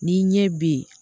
Ni ɲɛ be yen